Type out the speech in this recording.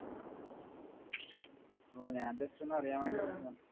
അപ്പൊ ഞാൻ just ഒന്ന് അറിയാൻ വേണ്ടി വിളിച്ചതാ